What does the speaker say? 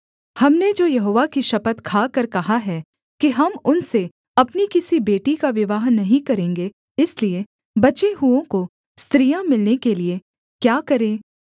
हमने जो यहोवा की शपथ खाकर कहा है कि हम उनसे अपनी किसी बेटी का विवाह नहीं करेंगे इसलिए बचे हुओं को स्त्रियाँ मिलने के लिये क्या करें